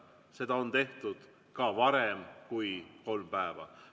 Seda on tehtud ka varem kui kolm päeva.